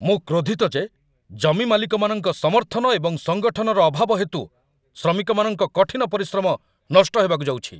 ମୁଁ କ୍ରୋଧିତ ଯେ ଜମି ମାଲିକମାନଙ୍କ ସମର୍ଥନ ଏବଂ ସଙ୍ଗଠନର ଅଭାବ ହେତୁ ଶ୍ରମିକମାନଙ୍କ କଠିନ ପରିଶ୍ରମ ନଷ୍ଟ ହେବାକୁ ଯାଉଛି।